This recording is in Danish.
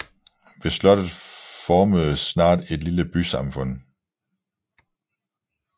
Ved slottet formedes snart et lille bysamfund